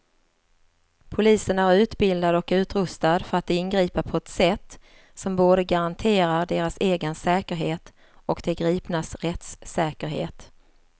Polisen är utbildad och utrustad för att ingripa på ett sätt som både garanterar deras egen säkerhet och de gripnas rättssäkerhet.